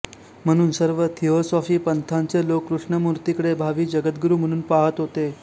म्हणून सर्व थिओसॉफी पंथाचे लोक कृष्णमूर्तीकडे भावी जगद्गुरु म्हणून पाहत होते